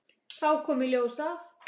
Þá kom í ljós að